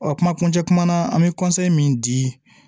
Ɔ kuma kuncɛ kuma na an bɛ min di